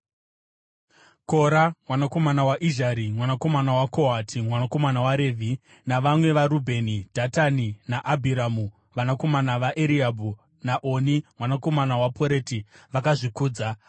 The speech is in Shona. Kora mwanakomana waIzhari, mwanakomana waKohati, mwanakomana waRevhi, navamwe vaRubheni, Dhatani naAbhiramu, vanakomana vaEriabhi, naOni mwanakomana waPoreti, vakazvikudza